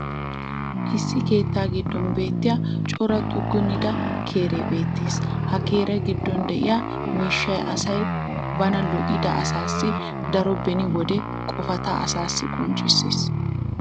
issi keettaa giddon beetiya cora xuggunida keree beetees. ha keriya giddon diya miishshay asay bana lo'ida asaassi daro beni wode qofata asaassi qonccissees.